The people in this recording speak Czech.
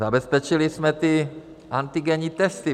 Zabezpečili jsme ty antigenní testy.